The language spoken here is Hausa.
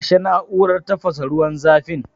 kashe na'urar tafasa ruwan zafin.